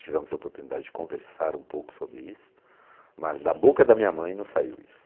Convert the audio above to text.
Tivemos a oportunidade de conversar um pouco sobre isso, mas da boca da minha mãe não saiu isso.